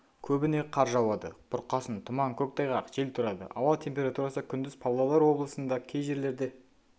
көбіне қар жауады бұрқасын тұман көктайғақ жел тұрады ауа температурасы күндіз павлодар облысында кей жерлерде